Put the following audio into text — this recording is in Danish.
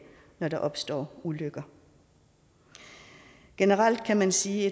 når der opstår ulykker generelt kan man sige at